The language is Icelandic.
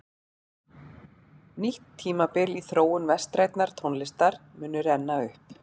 Nýtt tímabil í þróun vestrænnar tónlistar muni renna upp.